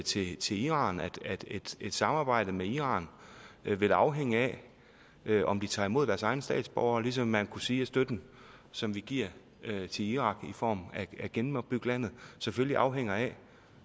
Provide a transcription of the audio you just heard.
sige til iran at et samarbejde med iran vil afhænge af om de tager imod deres egne statsborgere ligesom man kunne sige at støtten som vi giver til irak i form af at genopbygge landet selvfølgelig afhænger af